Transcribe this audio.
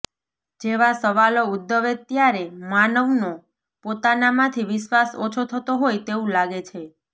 જેવા સવાલો ઉદ્ભવે ત્યારે માનવનો પોતાનામાંથી વિશ્વાસ ઓછો થતો હોય તેવું લાગે છે